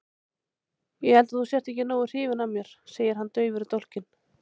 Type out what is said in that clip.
Ég held að þú sért ekki nógu hrifin af mér, segir hann daufur í dálkinn.